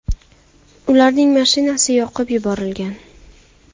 Ularning mashinasi yoqib yuborilgan.